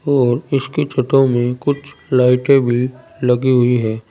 और इसकी छतों में कुछ लाइटें भी लगी हुई है।